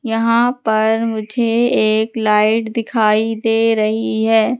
यहां पर मुझे एक लाइट दिखाई दे रही है।